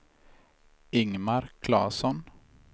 Ingmar Claesson